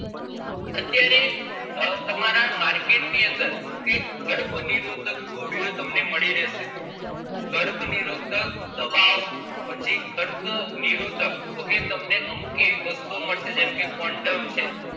આ market નીઅંદર okay ગર્ભ નિરોધક audio તમને મળી રહેશે ગર્ભ નિરોધક દવાઓ પછી ગર્ભ નિરોધક okay તમને અમુક એવી વસ્તુઓ મળશે જેવીકે condom છે